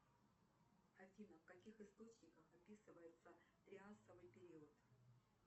афина в каких источниках описывается триасовый период